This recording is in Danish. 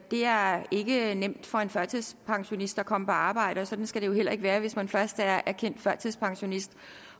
det er ikke nemt for en førtidspensionist at komme på arbejde og sådan skal det jo heller ikke være hvis man først er erkendt førtidspensionist